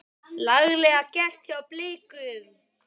Laglega gert hjá Blikum.